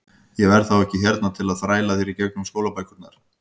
Ég verð þá ekki hérna til að þræla þér í gegnum skólabækurnar.